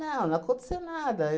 não aconteceu nada.